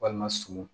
Walima sungun